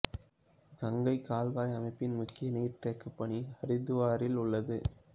கங்கைக் கால்வாய் அமைப்பின் முக்கிய நீர்த் தேக்கப் பணி ஹரித்வாரிலுள்ளது